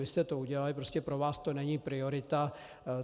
Vy jste to udělali, prostě pro vás to není priorita.